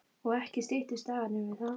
Og ekki styttust dagarnir við það.